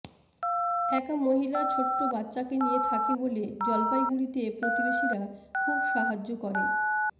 একা মহিলা ছোট বাচ্চা নিয়ে থাকে বলে জলপাইগুড়িতে প্রতিবেশীরা খুব সাহায্য করে